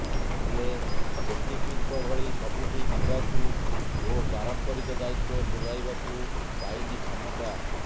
ହେଲେ ଜେଟିପିଙ୍କ ଭଳି ସବୁଠି ଯିବାକୁ ଓ ପାରମ୍ପରିକ ଦାୟିତ୍ବ ତୁଲାଇବାକୁ ପାଇନି କ୍ଷମତା